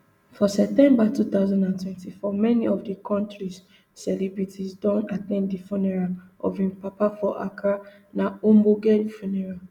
for september two thousand and twenty-four many of di kontris celebrities don at ten d di funeral of im papa for accra na ogbonge funeral